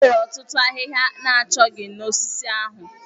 Enwere otutu ahịhịa ana chọghị na osisi ahụ.